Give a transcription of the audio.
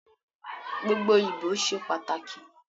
Gbogbo ibo ṣe pataki